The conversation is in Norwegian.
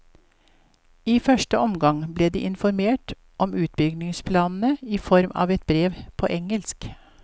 I første omgang ble de informert om utbyggingsplanene i form av et brev på engelsk.